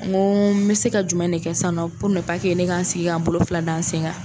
N ko n bɛ se ka jumɛn ne kɛ sisan nɔ ne k'an sigi k'an bolo fila da n sen kan.